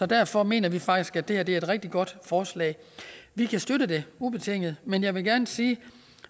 derfor mener vi faktisk at det her er et rigtig godt forslag vi kan støtte det ubetinget men jeg vil gerne sige at